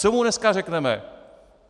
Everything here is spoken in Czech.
Co mu dneska řekneme?